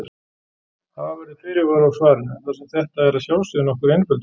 Hafa verður fyrirvara á svarinu þar sem þetta er að sjálfsögðu nokkur einföldun.